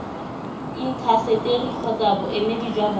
intaseteri kgotsa boemedi jwa bona